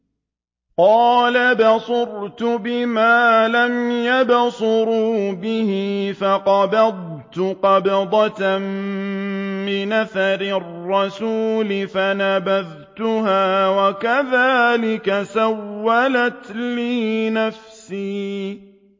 قَالَ بَصُرْتُ بِمَا لَمْ يَبْصُرُوا بِهِ فَقَبَضْتُ قَبْضَةً مِّنْ أَثَرِ الرَّسُولِ فَنَبَذْتُهَا وَكَذَٰلِكَ سَوَّلَتْ لِي نَفْسِي